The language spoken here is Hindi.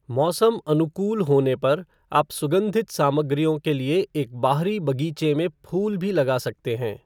मौसम अनुकूल होने पर आप सुगंधित सामग्रियों के लिए एक बाहरी बगीचे में फूल भी लगा सकते हैं।